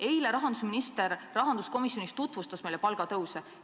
Eile tutvustas rahandusminister meile rahanduskomisjonis palgatõuse.